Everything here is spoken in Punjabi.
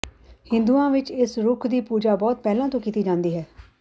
ਹਿੰਦੂਆਂ ਵਿੱਚ ਇਸ ਰੁੱਖ ਦੀ ਪੂਜਾ ਬਹੁਤ ਪਹਿਲਾਂ ਤੋਂ ਕੀਤੀ ਜਾਂਦੀ ਹੈ